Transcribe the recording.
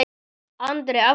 Andri: Af hverju?